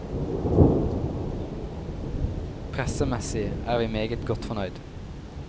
Pressemessig er vi meget godt fornøyd.